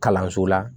Kalanso la